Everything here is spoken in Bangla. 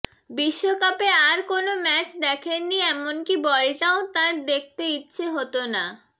বিশ্বকাপে আর কোনো ম্যাচ দেখেননি এমনকি বলটাও তাঁর দেখতে ইচ্ছে হতো না